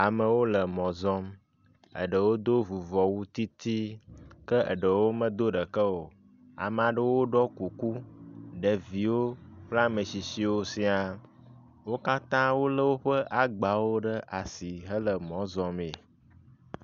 Amewo le mɔ zɔm, eɖewo do vuvɔwu titi, ke eɖewo medo ɖeke o. Ame aɖewo ɖɔ kuku, ɖeviwo kple ametsitsiwo siaa. Wo katãa wolé woƒe agbawo ɖe asi hele mɔ zɔmee.